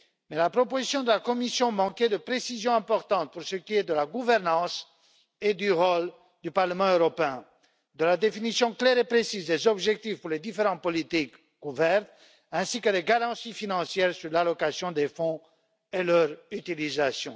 Mais la proposition de la Commission manquait de précisions importantes pour ce qui est de la gouvernance et du rôle du Parlement européen, de la définition claire et précise des objectifs pour les différentes politiques couvertes, ainsi que de garanties financières sur l'allocation des fonds et leur utilisation.